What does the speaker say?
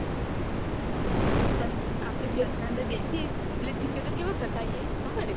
તન આપડે class ના અંદર બેસીએ એટલે teacher ને કેવા સતાઇએ ખબર હે